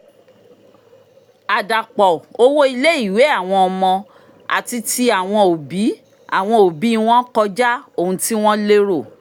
àdàpọ̀ owó ilé-ìwé àwọn ọmọ àti tí àwọn òbí àwọn òbí wọn kọjá ohun tí wọ́n lérò